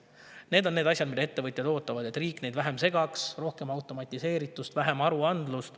Need on asjad, mida ettevõtjad ootavad: et riik neid vähem segaks, et oleks rohkem automatiseeritust ja vähem aruandlust.